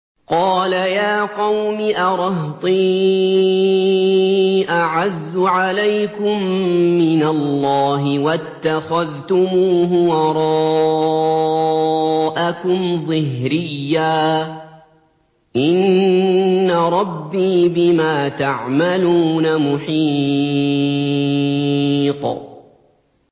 قَالَ يَا قَوْمِ أَرَهْطِي أَعَزُّ عَلَيْكُم مِّنَ اللَّهِ وَاتَّخَذْتُمُوهُ وَرَاءَكُمْ ظِهْرِيًّا ۖ إِنَّ رَبِّي بِمَا تَعْمَلُونَ مُحِيطٌ